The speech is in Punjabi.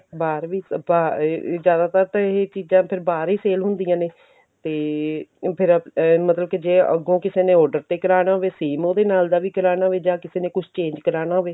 ਬਾਹਰ ਵੀ ਬਾਹਰ ਇਹ ਇਹ ਜਿਆਦਾਤਰ ਤਾਂ ਇਹ ਚੀਜ਼ਾਂ ਤਾਂ ਬਾਹਰ ਹੀ sale ਹੁੰਦੀਆਂ ਨੇ ਤੇ ਫਿਰ ਮਤਲਬ ਕੀ ਜੇ ਅੱਗੋਂ ਕਿਸੇ ਨੇ order ਤੇ ਕਰਾਨਾ ਹੋਵੇ same ਉਹਦੇ ਨਾਲ ਦਾ ਵੀ ਕਰਾਨਾ ਹੋਵੇ ਜਾਂ ਕਿਸੇ ਨੇ ਕੁੱਝ change ਕਰਾਨਾ ਹੋਵੇ